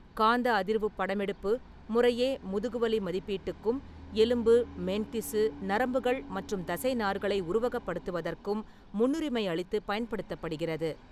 காந்த அதிர்வுப் படமெடுப்பு முறையே முதுகுவலி மதிப்பீட்டுக்கும் எலும்பு, மென்திசு, நரம்புகள் மற்றும் தசைநார்களை உருவகப்படுத்துவதற்கும் முன்னுரிமை அளித்துப் பயன்படுத்தப்படுகிறது.